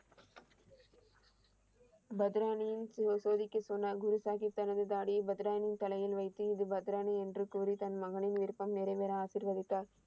பத்ராணியின் சோதிக்க சொன்னார். குரு சாஹீப் தனது தாடியை பத்ராணியின் தலையில் வைத்து, இது பத்ராணி என்று கூறி தன் மகனின் விருப்பம் நிறைவேற ஆசீர்வதித்தார்.